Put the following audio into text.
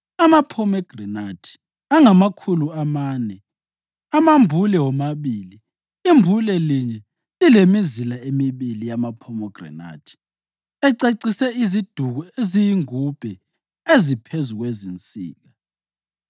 amaphomegranathi angamakhulu amane amambule womabili (imbule linye lilemizila emibili yamaphomegranathi, acecise iziduku eziyingubhe eziphezu kwezinsika);